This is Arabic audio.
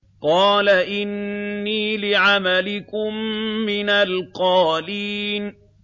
قَالَ إِنِّي لِعَمَلِكُم مِّنَ الْقَالِينَ